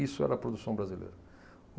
Isso era a produção brasileira.